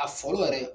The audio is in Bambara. A fɔlɔ yɛrɛ